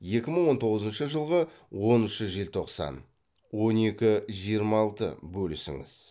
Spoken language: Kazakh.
екі мың он тоғызыншы жылғы оныншы желтоқсан он екі жиырма алты бөлісіңіз